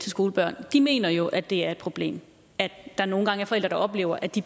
skolebørn mener jo at det er et problem at der nogle gange er forældre der oplever at de